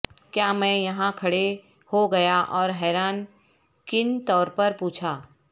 کیا میں یہاں کھڑے ہو گیا اور حیران کن طور پر پوچھا